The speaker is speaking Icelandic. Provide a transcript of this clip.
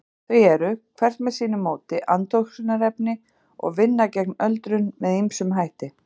Þau eru, hvert með sínu móti, andoxunarefni og vinna gegn öldrun með ýmsum hætti.